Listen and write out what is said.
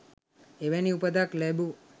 එවැනි උපතක් ලැබූ